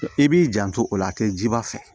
I b'i janto o la a tɛ jiba fɛ